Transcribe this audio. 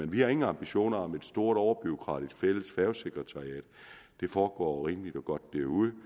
vi har ingen ambitioner om et stort overbureaukratisk fælles færgesekretariat det foregår rimeligt og godt derude